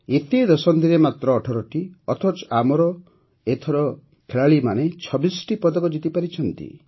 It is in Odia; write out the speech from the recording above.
ଏତେ ଦଶନ୍ଧିରେ ମାତ୍ର ୧୮ଟି ଅଥଚ ଏଥର ଆମ ଖେଳାଳିମାନେ ୨୬ଟି ପଦକ ଜିତିପାରିଛନ୍ତି